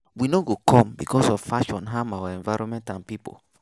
We no go come becos of fashion harm our environment and pipo